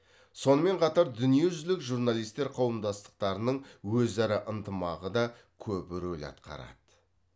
сонымен қатар дүниежүзүлік журналистер қауымдастықтарының өзара ынтымағы да көп рөл атқарады